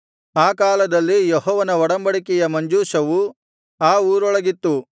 ಆ ಕಾಲದಲ್ಲಿ ಯೆಹೋವನ ಒಡಂಬಡಿಕೆಯ ಮಂಜೂಷವು ಆ ಊರೊಳಗಿತ್ತು